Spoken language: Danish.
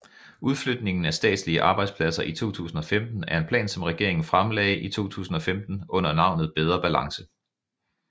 Udflytningen af statslige arbejdspladser i 2015 er en plan som regeringen fremlagde i 2015 under navnet Bedre Balance